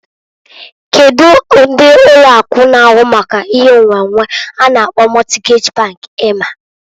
Kedu ndi ụlọ akụ na ahụ maka ihe nnwennwe a na-akpọ Mọtgej bank ima?